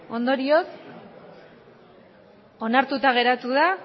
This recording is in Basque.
ondorioz onartuta geratu da